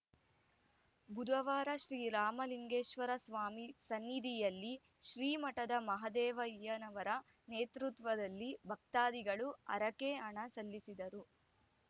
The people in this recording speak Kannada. ಬುಧವಾರ ಶ್ರೀರಾಮಲಿಂಗೇಶ್ವರಸ್ವಾಮಿ ಸನ್ನಿಧಿಯಲ್ಲಿ ಶ್ರೀಮಠದ ಮಹದೇವಯ್ಯನವರ ನೇತೃತ್ವದಲ್ಲಿ ಭಕ್ತಾದಿಗಳು ಹರಕೆ ಹಣ ಸಲ್ಲಿಸಿದರು